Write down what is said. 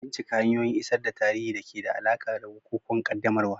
Bincika hanyoyin isar da tarihi da ke da alaƙa da bukukuwan qaddamarwa.